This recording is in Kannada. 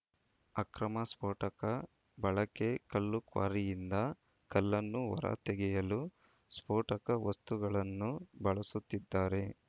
ಅಕ್ರಮ ಸ್ಫೋಟಕ ಬಳಕೆ ಕಲ್ಲು ಕ್ವಾರಿಯಿಂದ ಕಲ್ಲನ್ನು ಹೊರ ತೆಗೆಯಲು ಸ್ಫೋಟಕ ವಸ್ತುಗಳನ್ನು ಬಳಸುತ್ತಿದ್ದಾರೆ